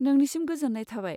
नोंनिसिम गोजोन्नाय थाबाय।